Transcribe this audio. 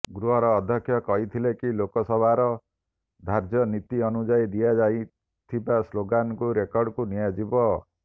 ଗୃହର ଅଧକ୍ଷ କହିଥିଲେ କି ଲୋକସଭାର ଧାର୍ଯ୍ୟ ନୀତି ଅନୁଯାୟୀ ଦିଆଯାଇଥିବା ସ୍ଳୋଗାନକୁ ରେକର୍ଡକୁ ନିଆଯିବ